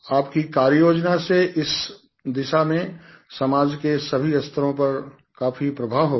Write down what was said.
आपकी कार्ययोजना से इस दिशा में समाज के सभी स्तरों पर काफ़ी प्रभाव होगा